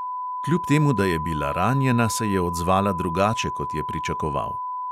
Kljub temu, da je bila ranjena, se je odzvala drugače, kot je pričakoval.